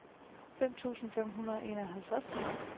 femten tusind fem hundrede og enoghalvtreds